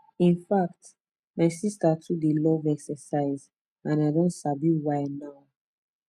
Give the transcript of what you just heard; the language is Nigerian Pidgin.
in fact my sister too dey love exercise and i don sabi why now